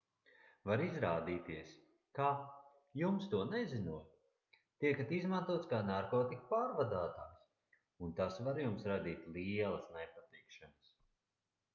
var izrādīties ka jums to nezinot tiekat izmantots kā narkotiku pārvadātājs un tas var jums radīt lielas nepatikšanas